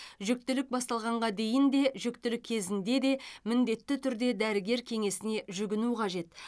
жүктілік басталғанға дейін де жүктілік кезінде де міндетті түрде дәрігер кеңесіне жүгіну қажет